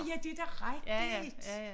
Ja det da rigtigt